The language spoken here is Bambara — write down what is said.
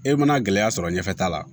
E mana gɛlɛya sɔrɔ ɲɛfɛ ta la